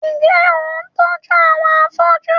Ǹjẹ́, ò ń tójú àwọn afóju?